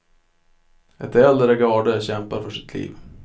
Ett äldre garde kämpar för sitt liv.